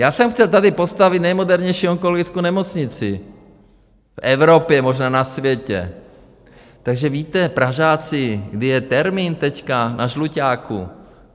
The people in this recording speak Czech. Já jsem chtěl tady postavit nejmodernější onkologickou nemocnici v Evropě, možná na světě, takže víte, Pražáci, kdy je termín teď na Žluťáku?